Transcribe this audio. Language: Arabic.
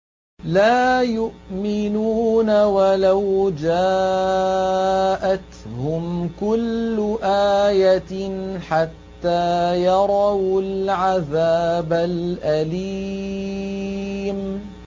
وَلَوْ جَاءَتْهُمْ كُلُّ آيَةٍ حَتَّىٰ يَرَوُا الْعَذَابَ الْأَلِيمَ